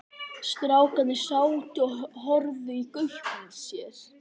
Strákarnir sátu og horfðu í gaupnir sér.